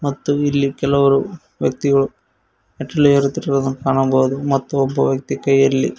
ಮತ್ತು ಇಲ್ಲಿ ಕೆಲವರು ವ್ಯಕ್ತಿಗಳು ಮೆಟ್ಟಿಲು ಏರುತ್ತಿರುವುದನ್ನು ಕಾಣಬಹುದು ಮತ್ತು ಒಬ್ಬ ವ್ಯಕ್ತಿ ಕೈಯಲ್ಲಿ.